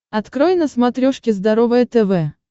открой на смотрешке здоровое тв